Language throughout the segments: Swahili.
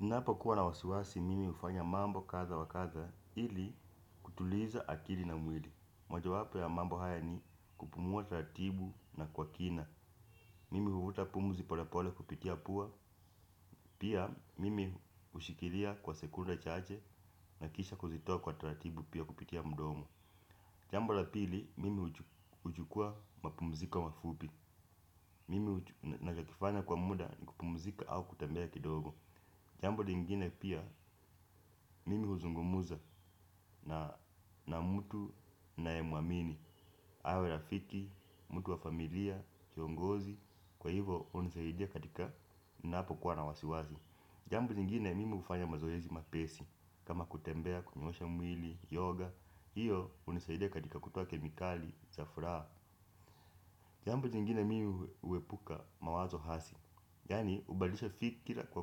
Ninapo kuwa na wasiwasi, mimi hufanya mambo kadha wa kadha ili kutuliza akili na mwili. Moja wapo ya mambo haya ni kupumua taratibu na kwa kina. Mimi huvuta pumzi pole pole kupitia pua, pia mimi hushikilia kwa sekunde chache na kisha kuzitoa kwa taratibu pia kupitia mdomo. Jambo la pili, mimi huchukua mapumziko mafupi. Mimi nachokifanya kwa muda ni kupumzika au kutembea kidogo. Jambo lingine pia mimi huzungumuza na mtu na ninaye muamini, awe rafiki, mtu wa familia, kiongozi kwa hivyo hunisaidia katika napo kuwa na wasiwasi jambo jingine mimi hufanya mazoezi mapesi kama kutembea, kunyoosha mwili, yoga hiyo hunisaidia katika kutoa kemikali za furaha jambo jingine mimi huepuka mawazo hasi yani hubalisha fikira kwa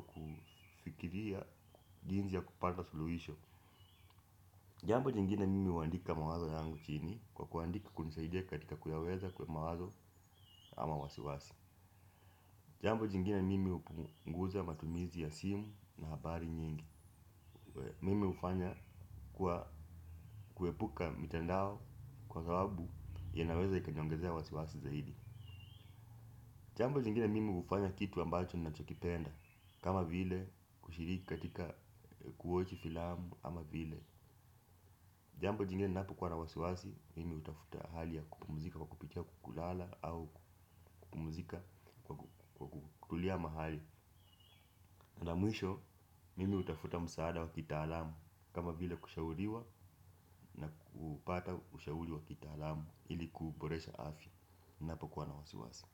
kufikiria jinsi ya kupanda suluhisho jambo jingine mimi huandika mawazo yangu chini kwa kuandika kunisaidia katika kuyaweza kwa mawazo ama wasiwasi jambo jingine mimi hupunguza matumizi ya simu na habari nyingi mimi hufanya kuepuka mitandao kwa sababu inaweza ikanionhezea wasi wasi zaidi jambo jingine mimi hufanya kitu ambacho ninacho kipenda kama vile kushiriki katika kuwatch filamu ama vile jambo jingine ninapo kuwa na wasiwasi mimi hutafuta hali ya kupumzika wa kupitia kukulala au kupumzika kwa kutulia mahali. Na mwisho mimi hutafuta msaada wa kitaalamu kama vile kushauriwa, na kupata ushauri wa kitaalamu ili kuboresha afya ninapo kuwa na wasiwasi.